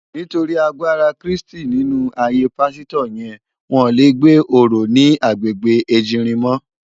Nitóri àgbárá Kristi ninú àáyé pàsitò yèn wòn lé gbé óró ni àgbégbé Ejirin mò